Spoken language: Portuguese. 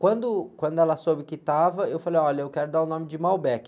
Quando, quando ela soube que estava, eu falei, olha, eu quero dar o nome de Malbec.